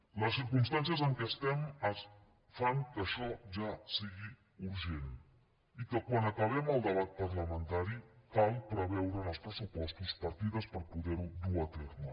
les circumstàncies en què estem fan que això ja sigui urgent i quan acabem el debat parlamentari cal preveure en els pressupostos partides per poder ho dur a terme